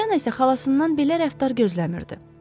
Poliyana isə xalasından belə rəftar gözləmirdi.